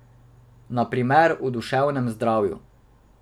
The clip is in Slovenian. Na primer o duševnem zdravju.